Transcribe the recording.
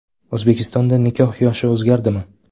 O‘zbekistonda nikoh yoshi o‘zgaradimi?.